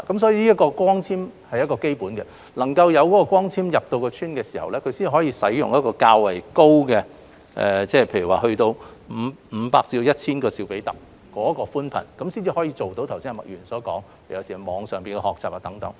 所以，光纖網絡是基本的，讓光纖入村，他們才能使用較高的——例如500至 1,000 兆比特——寬頻，這樣才可做到麥議員剛才所說的網上學習活動。